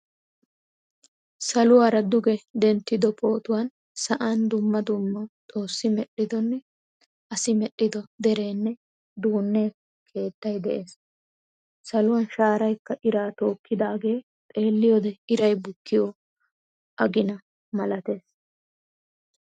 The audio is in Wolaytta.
Saluwaara duge denttido pootuwaan sa'an dumma dumma xoossi medhdhidone asi medhdhido derene dunne keettay de'ees. Saluwan shaaraykka ira tokkidage xeeliyode iray bukkiyo agina malatees.